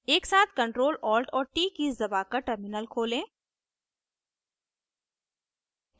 एकसाथ ctrl alt और t keys दबाकर टर्मिनल खोलें